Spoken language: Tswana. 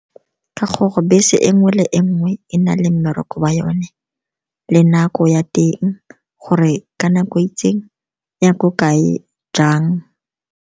Ka gore bese e nngwe le e nngwe e na le mmereko wa yone le nako ya teng, gore ka nako itseng e ya ko kae, jang.